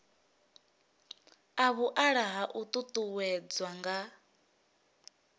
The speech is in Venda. a vhuaḓa a ṱuṱuwedzwa nga